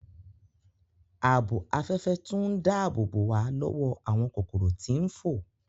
Ààbò Afẹfẹ tún dáàbòbo wa lọwọ awọn kokoro ti n fo